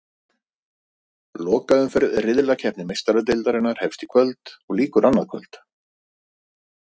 Lokaumferð riðlakeppni Meistaradeildarinnar hefst í kvöld og lýkur annað kvöld.